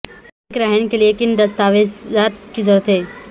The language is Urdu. ایک رہن کے لئے کن دستاویزات کی ضرورت ہے